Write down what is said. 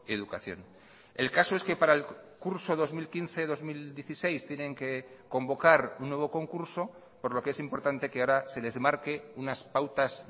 educación el caso es que para el curso dos mil quince dos mil dieciséis tienen que convocar un nuevo concurso por lo que es importante que ahora se les marque unas pautas